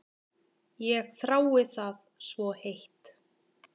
Ég þrái það svo heitt.